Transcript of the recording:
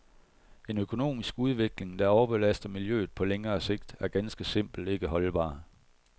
En økonomisk udvikling, der overbelaster miljøet på længere sigt, er ganske simpelt ikke holdbar.